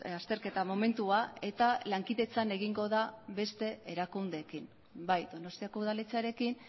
azterketa momentua eta lankidetzan egingo da beste erakundeekin bai donostiako udaletxearekin